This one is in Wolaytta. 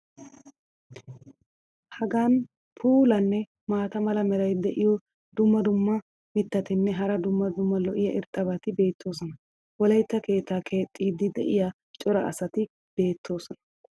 hagan puulanne maata mala meray diyo dumma dumma mitatinne hara daro lo'iya irxxabati beetoosona. wolaytta keettaa keexxeedi diya cora asati beetoosona.